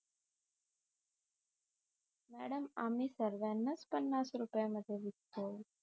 madam आम्ही सर्वांनाच पन्नास रुपया मध्ये विकतो